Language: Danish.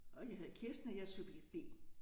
Og jeg hedder Kirsten og jeg subjekt B